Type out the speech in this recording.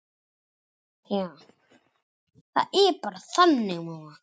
Fyrir á Elfa Ólöfu.